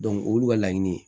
o y'olu ka laɲini ye